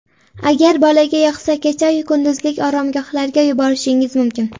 Agar bolaga yoqsa, kecha-yu kunduzlik oromgohlarga yuborishingiz mumkin.